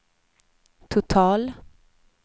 total